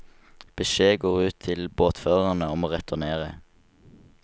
Beskjed går ut til båtførerne om å returnere.